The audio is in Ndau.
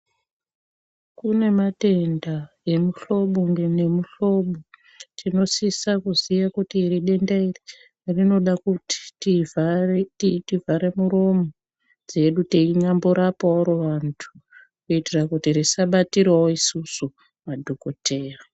Kune matenda emuhlobo nemuhlobo tinosisa kuti denda iri tinoda kuti tirapike teivhara muromo muntu kuti risabatirawo isusu madhokodheya.